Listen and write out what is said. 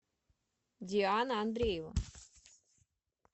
диана андреева